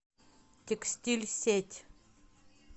текстильсеть